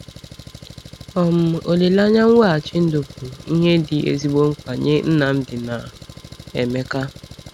um Olileanya mweghachi ndụ bụ ihe dị ezigbo mkpa nye Nnamdi na Emeka.